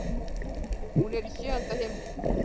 Hún er í sjöunda himni.